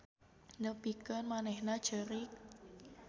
Nepikeun manehna ceurik.